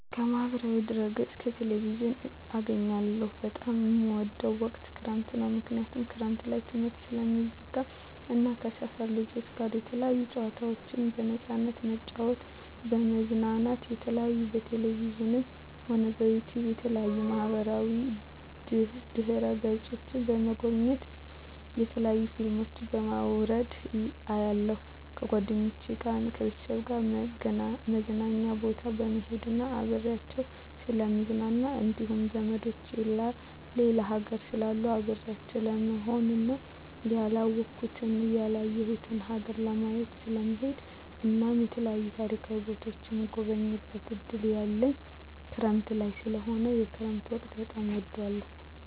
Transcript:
ከማህበራዊ ድህረገፅ ከቴሌቪዥን አገኛለሁ በጣም የምወደዉ ወቅት ክረምት ነዉ ምክንያቱም ክረምት ላይ ትምህርት ስለሚዘጋ እና ከሰፈር ልጆች ጋር የተለያዩ ጨዋታዎችን በነፃነት በመጫወት በመዝናናት የተለያዩ በቴሌቪዥንም ሆነ በዩቱዩብ በተለያዩ ማህበራዋ ድህረ ገፆችን በመጎብኘት የተለያዩ ፊልሞችን በማዉረድ አያለሁ ከጓደኞቸ ጋር ከቤተሰቦቸ ጋር መዝናኛ ቦታ በመሄድና አብሬያቸዉ ስለምዝናና እንዲሁም ዘመዶቸ ሌላ ሀገር ስላሉ አብሬያቸው ለመሆንና ያላወኩትን ያላየሁትን ሀገር ለማየት ስለምሄድ እናም የተለያዩ ታሪካዊ ቦታዎችን የመጎብኘት እድል ያለኝ ክረምት ላይ ስለሆነ የክረምት ወቅት በጣም እወዳለሁ